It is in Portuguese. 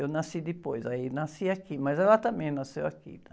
Eu nasci depois, aí nasci aqui, mas ela também nasceu aqui, né?